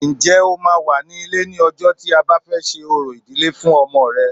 Ǹjẹ́ o máa wà ní ilé ní ọjọ́ tí a bá fẹ́ ṣe orò ìdílé fún ọmọ rẹ